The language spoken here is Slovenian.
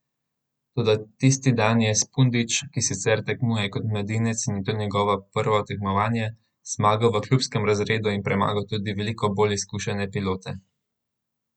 Toda tisti dan je Spudič, ki sicer tekmuje kot mladinec in je to njegovo prvo tekmovanje, zmagal v klubskem razredu in premagal tudi veliko bolj izkušene pilote.